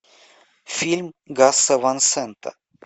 фильм гаса ван сента